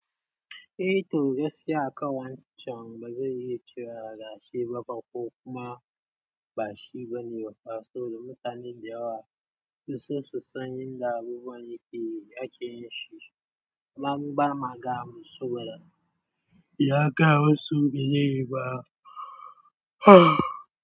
Eh, to gaskiya a ƙan wancan ba zai iya ciwa gashi ba fa ko kuma ba shi bane. Saboda mutane da yawa sun san yadda abubuwan yake yake yi shi, amma mu ba gaya saɓoda ya gaya mu su ba rai yi ba.